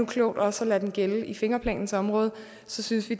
klogt også at lade den gælde i fingerplanens område så synes vi